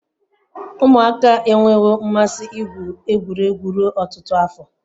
Umuaka enwewo mmasi igwu egwuregwu ruo otutu afo